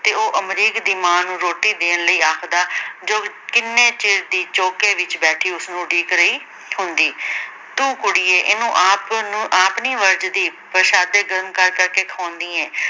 ਤੇ ਉਹ ਅਮਰੀਕ ਦੀ ਮਾਂ ਨੂੰ ਰੋਟੀ ਦੇਣ ਲਈ ਆਖਦਾ ਜੋ ਕਿੰਨੇ ਚਿਰ ਦੀ ਚੌਂਕੇ ਵਿੱਚ ਬੈਠੀ ਉਸਨੂੰ ਉਡੀਕ ਰਹੀ ਹੁੰਦੀ ਤੂੰ ਕੁੜੀਏ ਇਹਨੂੰ ਆਪ ਨੂੰ ਆਪ ਨ੍ਹੀਂ ਵਰਜਦੀ, ਪਰਸ਼ਾਦੇ ਗਰਮ ਕਰ ਕਰ ਕੇ ਖਵਾਉਂਦੀ ਏਂ।